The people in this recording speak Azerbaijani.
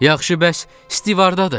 Yaxşı bəs Stiv hardadır?